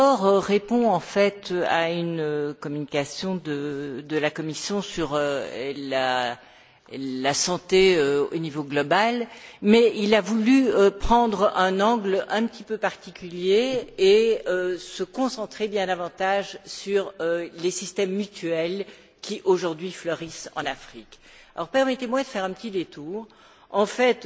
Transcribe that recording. Ce rapport répond en fait à une communication de la Commission sur la santé au niveau global, mais il a voulu prendre un angle un petit peu particulier et se concentrer bien davantage sur les systèmes mutuels qui, aujourd'hui, fleurissent en Afrique. Permettez moi de faire un petit détour. En fait,